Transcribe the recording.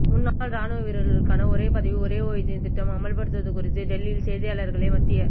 முன்னாள் ராணுவ வீரர்களுக்கான ஒரே பதவி ஒரே ஓய்வூதியம் திட்டம் அமல்படுத்துவது குறித்து டெல்லியில் செய்தியாளர்களை மத்திய